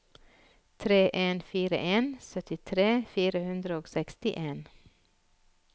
tre en fire en syttitre fire hundre og sekstien